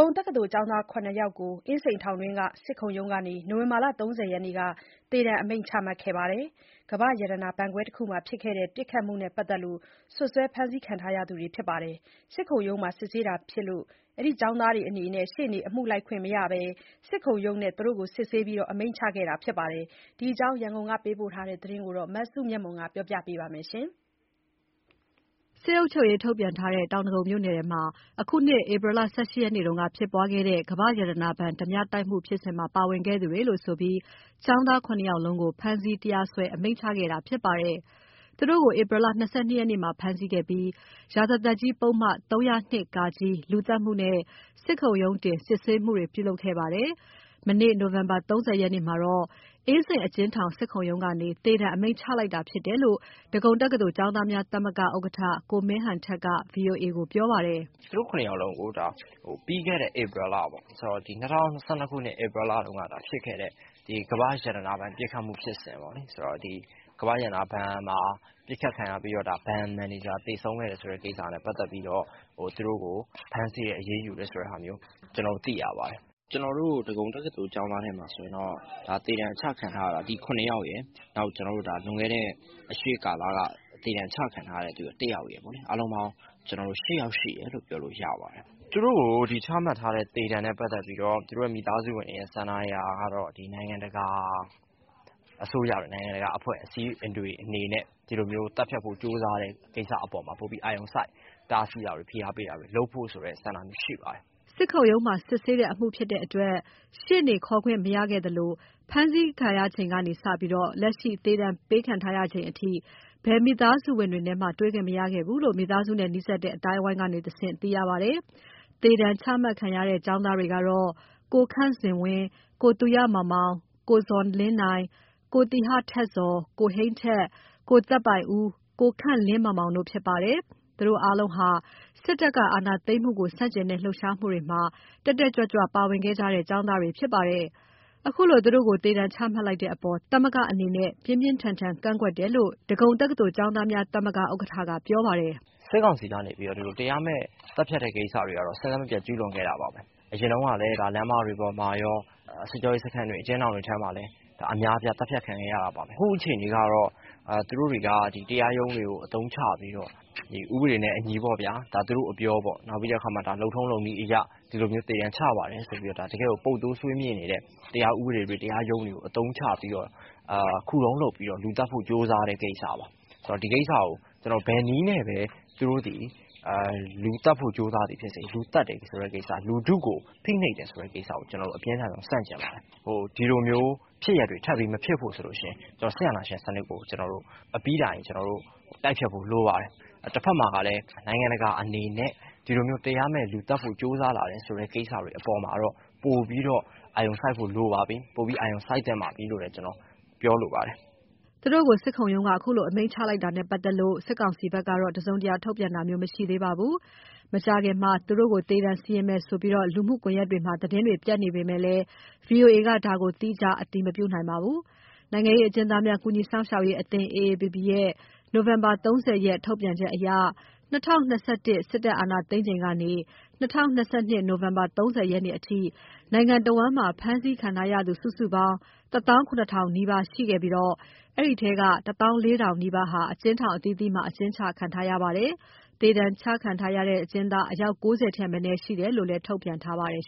ုံတက္ကသိုလ်ကျောင်းသား ၇ ယောက်ကို အင်းစိန်ထောင်တွင်း စစ်ခုံရုံးကနေ နိုဝင်ဘာလ ၃၀ ရက်နေ့က သေဒဏ်အမိန့်ချမှတ်ခဲ့ပါတယ်။ ကမ္ဘာ့ရတနာဘဏ်ခွဲတခုမှာjဖစ်ခဲ့တဲ့ ပစ်ခတ်မှုနဲ့ ပတ်သက်လို့ စွပ်စွဲဖမ်းဆီးခံရသူတွေဖြစ်ပါတယ်။ စစ်ခုံရုံးမှာစစ်ဆေးတာဖြစ်လို့ သူတို့အနေနဲ့ ရှေ့နေအမှုလိုက်ခွင့်မရဘဲ စစ်ခုံရုံးမှာပဲ သူတို့ကို စစ်ဆေးအမိန့်ချခဲ့တာဖြစ်ပါတယ်။ ဒီအကြောင်း ရန်ကုန်ကပေးပို့တဲ့သတင်းကို မစုမြတ်မွန်က တင်ပြပေးထားပါတယ်။ စစ်အုပ်ချုပ်ရေးထုတ်ပြန်ထားတဲ့ တောင်ဒဂုံမြို့နယ်မှာ အခုနှစ် ဧပြီလ ၁၈ ရက်နေ့က ဖြစ်ပွားခဲ့တဲ့ ကမ္ဘာ့ရတနာဘဏ် ဓါးပြတိုက်မှုဖြစ်စဉ်မှာ ပါဝင်ခဲ့သူတွေလို့ဆိုပြီး ကျောင်းသား ၇ ယောက်စလုံး ဖမ်းဆီးတရားစွဲ အမိန့်ချခဲ့ပါတယ်။ သူတို့ကို ဧပြီလ ၂၂ ရက်နေ့မှာ ဖမ်းဆီးခဲ့ပြီး ရာဇသတ်ကြီးပုဒ်မ ၃၀၂ (က) လူသတ်မှုနဲ့ စစ်ခုံရုံးတင် စစ်ဆေးမှုခဲ့တာဖြစ်ပါတယ်။ သူတို့တွေကို မနေ့ နိုဝင်ဘာ ၃၀ ရက်နေ့က အင်းစိန်အကျဉ်းထောင်၊ စစ်ခုံရုံးကနေ သေဒဏ် အမိန့်ချမှတ်လိုက်တာဖြစ်တယ်လို့ ဒဂုံတက္ကသိုလ်ကျောင်းသားများသမဂ္ဂဥက္ကဋ္ဌ ကိုမင်းဟန်ထက်က ဗွီအိုအေ ကိုပြောပါတယ်။ “သူတို့ ၇ ယောက်ကို ၂၀၂၂ ခုနှစ် ဧပြီလကဖြစ်ခဲ့တဲ့ ကမ္ဘာ့ရတနာဘဏ် ပစ်ခတ်မှုဖြစ်စဉ်ပေါ့၊ အဲဒီမှာ ဘဏ်မန်နေဂျာ သေဆုံးခဲ့တဲ့ပစ်ခတ်မှုဖြစ်စဉ်ပေါ့။ အဲဒါနဲ့ပတ်သက်လို့ ဖမ်းဆီးအရေးယူတယ် လို့ ကျနော်တို့သိရပါတယ်။ ကျနော်တို့ ဒဂုံတက္ကသိုလ်မှာဆိုရင်တော့ သေဒဏ်ချမှတ်ခံရတာ ဒီ ၇ ယောက်ရယ်၊ အစောပိုင်းဘက်က သေဒဏ်ချမှတ်ခံထားရတဲ့ တယောက်ရယ်ဆို စုစုပေါင်း ၈ ယောက်ရှိပါတယ်။ သူတို့ကိုချမှတ်ထားတဲ့ သေဒဏ်နဲ့ပတ်သက်လို့ကတော့ သူတို့မိသားစုဝင်တွေကတော့ နိုင်ငံတကာအစိုးရတွေ၊ နိုင်ငံတကာအဖွဲ့အစည်းတွေအနေနဲ့ ဒီလိုမျိုး ဖမ်းဆီးသတ်ဖြတ် တာတွေကို ပိုပြီး အာရုံစိုက်တားဆီးဖို့၊ ဖိအားပေးတာတွေလုပ်ဖို့ ဆန္ဒရှိပါတယ်။” စစ်ခုံရုံးမှာ စစ်ဆေးတဲ့အမှုဖြစ်လို့ ရှေ့နေခေါ်ခွင့်မရခဲ့သလို ဖမ်းဆီးခံရချိန်ကနေစပြီး လက်ရှိ သေဒဏ်ပေးခံရချိန်အထိ ဘယ်မိသားစုဝင်တွေနဲ့မှ တွေ့ခွင့်မရခဲ့ဘူးလို့ မိသားစုနဲ့နီးစပ်တဲ့အသိုင်းအဝိုင်းကတဆင့် သိရပါတယ်။ သေဒဏ်ချမှတ်ခံရတဲ့ ကျောင်းသားတွေကတော့ ကိုခန့်ဇင်ဝင်း၊ ကိုသူရမောင်မောင်၊ ကိုဇော်လင်းနိုင်၊ ကိုသီဟထက်ဇော်၊ ကိုဟိန်းထက်၊ ကိုသက်ပိုင်ဦး၊ ကိုခန့်လင်းမောင်မောင်တို့ဖြစ်ပါတယ်။ သူတို့အားလုံးဟာ စစ်တပ်ကအာဏာသိမ်းမှုကို ဆန့်ကျင်တဲ့လှုပ်ရှားမှုတွေမှာ တက်တက်ကြွကြွ ပါဝင်ခဲ့သူတွေဖြစ်ပါတယ်။ ခုလို သူတို့ကို သေဒဏ်ချမှတ်လိုက်တဲ့အပေါ် သမဂ္ဂအနေနဲ့ ပြင်းပြင်းထန်ထန်ကန့်ကွက်တယ်လို့ ဒဂုံတက္ကသိုလ်ကျောင်းသားများ သမဂ္ဂ ဥက္ကဋ္ဌ ကပြောပါတယ်။ “စစ်ကောင်စီဘက်က တရားမဲ့သတ်ဖြတ်မှုတွေက စဉ်ဆက်မပြတ်လုပ်နေခဲ့တာပါပဲ။ အရင်တုန်းကလည်း လမ်းမတွေပေါ်မှာရော စစ်ကြောရေးစခန်းတွေ၊ အကျဉ်းထောင်တွေထဲမှာကော အများအပြား သတ်ဖြတ်ခံခဲ့ရတာပါပဲ။ ခုချိန်ကျတော့ သူတို့တွေက တရားရုံးတွေကိုအသုံးချပြီးတော့ ဥပဒေနဲ့အညီပေါ့ဗျာ သူတို့အပြောပေါ့။ နောက်ပြီးတော့ ဒါ လုပ်ထုံးလုပ်နည်းအရ ဒီလိုမျိုး သေဒဏ်ချပါတယ်ဆိုပြီး ပုပ်သိုးဆွေးမြေ့နေတဲ့ တရားဥပဒေတွေ၊ တရားရုံးတွေဘက်ကနေ ခုတုံးလုပ်ပြီး လူသတ်ဖို့ကြိုးစားတဲ့ကိစ္စပါ။ ဒီကိစ္စကို ဘယ်နည်းနဲ့ပဲ သူတို့သည် လူသတ်သည်ဖြစ်စေ၊ ဘယ်နည်းနဲ့ မဆို လူထုကိုဖိနှိပ်တာဖြစ်စေ ကျနော်တို့ပြင်းထန်စွာဆန့်ကျင်ပါတယ်။ ဒီလိုဖြစ်ရပ်တွေထပ်မဖြစ်ဖို့အတွက်ဆိုရင် စစ်အာဏာရှင်စနစ်ကို အပြီးတိုင်တိုက်ဖျက်ဖို့လိုပါတယ်။ အဲဒါအတွက်ကို ဆက်အရှိန်မြင့်ဖို့ရှိပါလိမ့်မယ်။ တဘက်မှာတော့ နိုင်ငံတကာဘက်က အခုလို တရားမဲ့လူသတ်မှုတွေကိုတော့ ပိုပြီးအာရုံစိုက်ဖို့ လိုပါတယ်၊ ပိုပြီးအာရုံစိုက်သင့်တယ်လို့ ပြောချင်ပါတယ်။” သူတို့ကို စစ်ခုံရုံးက ဒီလို အမိန့်ချလိုက်တာနဲ့ပတ်သက်လို့ စစ်ကောင်စီဘက်က ထုတ်ပြန်ကြေညာတာမျိုးမရှိသေးပါဘူး။ သူတို့ကို မကြာခင်မှာပဲ သေဒဏ်စီရင်မယ်ဆိုပြီး လူမှုကွန်ယက်တွေမှာ သတင်းပြန့်နေပေမယ့်လည်း ဒါကိုတော့ VOA က သီးခြားအတည်မပြုနိုင်ပါဘူး။ နိုင်ငံရေးအကျဉ်းသားများ ကူညီစောင့်ရှောက်ရေးအသင်း (AAPP) ရဲ့ နိုဝင်ဘာ ၃၀ ရက် ထုတ်ပြန်ချက်အရ ၂၀၂၁ ခုနှစ် စစ်တပ်အာဏာသိမ်းချိန်ကနေ ၂၀၂၂ နိုဝင်ဘာ ၃၀ ရက်နေ့ အထိ နိုင်ငံတဝန်း ဖမ်းဆီးခံရသူ စုစုပေါင်း ၁၇,၀၀၀ နီးပါးရှိခဲ့ပြီး အဲဒီအထဲက ၁၄,၀၀၀ နီးပါး အကျဉ်းထောင်အသီးသီးမှာ အကျဉ်းချခံထားရပါတယ်။ သေဒဏ်ကျခံထားရတဲ့ အကျဉ်းသား အယောက် ၉၀ ထက်မနည်းရှိတယ်လို့ ထုတ်ပြန်ထားပါတယ်